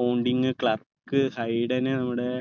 ponding Clarke Hayden മ്മടെ